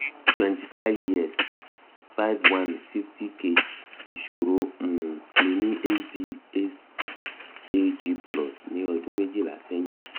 twenty five years five one fifty kg mi ni hbsag plus ní ọdún méjìlá sẹ́yìn